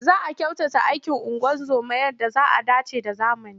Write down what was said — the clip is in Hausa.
Za a kyautata aikin ungozoma yadda zai dace da zamani.